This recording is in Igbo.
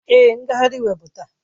Èé, ngagharị iwe bụ taa.